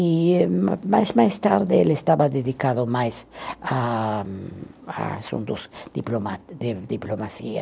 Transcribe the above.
e ma mais mais tarde ele estava dedicado mais a a assuntos diploma, de diplomacia.